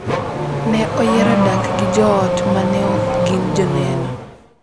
Ne oyiero dak gi joot ma ne ok gin Joneno.